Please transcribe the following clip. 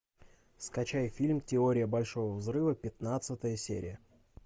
скачай фильм теория большого взрыва пятнадцатая серия